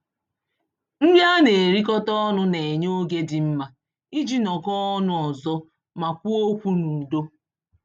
Nri a na-erikọta ọnụ na-enye oge dị mma iji nọkọọ ọnụ ọzọ ma kwuo okwu n'udo.